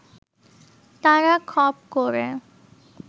তারা খপ করে